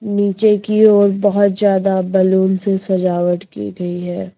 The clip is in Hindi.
नीचे की ओर बहोत जादा बलून से सजावट की गई है।